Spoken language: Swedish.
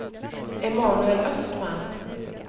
Emanuel Östman